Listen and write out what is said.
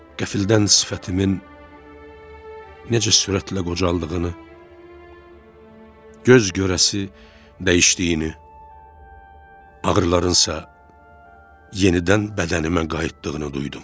Qəfildən sifətimin necə sürətlə qocaldığını, göz görəsi dəyişdiyini, ağrılarınsa yenidən bədənimə qayıtdığını duydum.